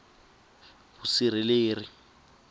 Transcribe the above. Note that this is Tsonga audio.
vusirheleri